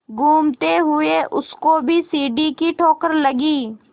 घूमते हुए उसको भी सीढ़ी की ठोकर लगी